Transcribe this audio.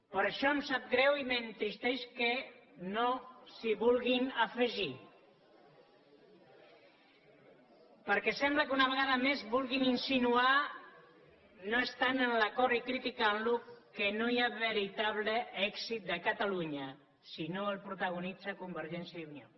per això em sap greu i m’entristeix que no s’hi vulguin afegir perquè sembla que una vegada més vulguin insinuar no estant en l’acord i criticant lo que no hi ha veritable èxit de catalunya si no el protagonitza convergència i unió